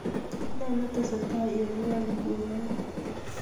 Ne netesetai eng ngweny nguno